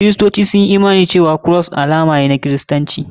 Kiristoci sun yi imani cewa Cross alama ne na kiristanci.